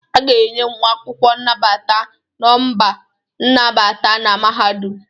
A ga-enye nwa akwụkwọ nnabata nọmba nnabata na mahadum